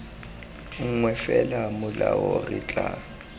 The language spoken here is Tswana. nngwe fela molao re tla